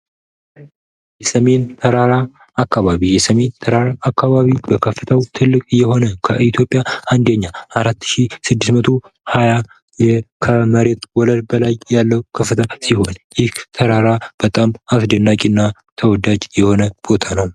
የሰሜን ተራራ አካባቢ፦ የሰሜን ተራራ አካባቢ በከፍታው ትልቅ የሆነ ከኢትዮጵያ አንደኛ 4620 ከመሬት ወለል በላይ ያለው ከፍታ ሲሆን ይህ ተራራ በጣም አስደናቂና ተወዳጅ የሆነ ቦታ ነው።